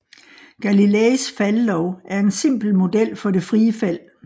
Galileis faldlov er en simpel model for det frie fald